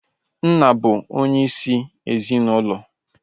Nna bụ onye isi ezinaụlọ